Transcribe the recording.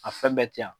A fɛn bɛɛ tɛ yan